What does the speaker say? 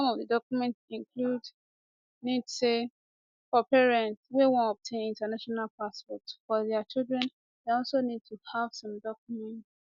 some of di document include nis say for parents wey wan obtain international passports for dia children dem also need to have some documents